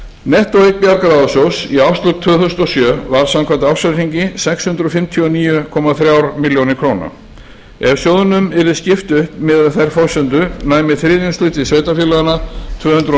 nettóeign bjargráðasjóðs í árslok tvö þúsund og sjö var samkvæmt ársreikningi sex hundruð fimmtíu og níu komma þremur milljónum króna ef sjóðnum yrði skipt upp miðað við þær forsendur næmi þriðjungshluti sveitarfélaganna tvö hundruð og